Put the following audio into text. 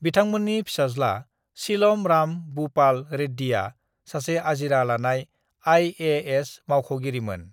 बिथांमोन्नि फिसाज्ला सीलम राम बूपाल रेड्डीआ सासे आजिरा लानाय आईएएस मावख'गिरिमोन।